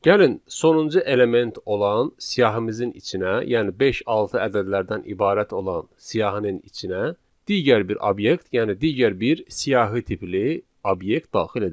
Gəlin sonuncu element olan siyahımızın içinə, yəni beş-altı ədədlərdən ibarət olan siyahının içinə digər bir obyekt, yəni digər bir siyahı tipli obyekt daxil edək.